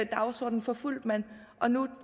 dagsorden forfulgte man og nu